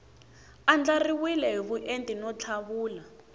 andlariwile hi vuenti no tlhavula